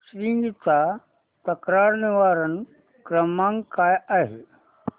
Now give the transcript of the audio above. Swiggy चा तक्रार निवारण क्रमांक काय आहे